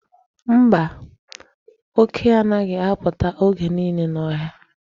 Mba, oke anaghị apụta oge niile n'ọhịa.